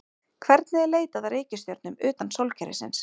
Hvernig er leitað að reikistjörnum utan sólkerfisins?